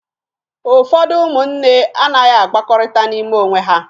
Ụfọdụ ụmụnne anaghị akpakọrịta n'ime onwe ha